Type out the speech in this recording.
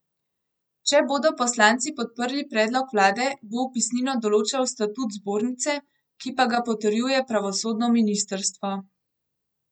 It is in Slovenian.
Če bodo poslanci podprli predlog vlade, bo vpisnino določal statut zbornice, ki pa ga potrjuje pravosodno ministrstvo.